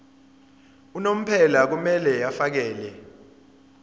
unomphela kumele afakele